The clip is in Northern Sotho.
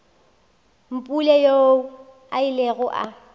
mpule yoo a ilego a